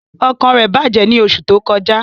Ọkàn rẹ bajẹ ni oṣu to kọja.